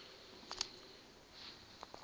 kha vhupo vhu si na